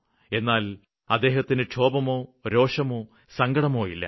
എന്നാല് അദ്ദേഹത്തിന് ക്ഷോഭമോ രോക്ഷമോ സങ്കടമോ ഇല്ല